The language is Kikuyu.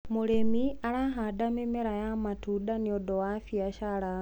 mũrĩmi arahanda mĩmera ya matunda nĩũndũ wa biashara